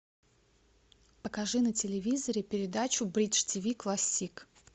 покажи на телевизоре передачу бридж тв классик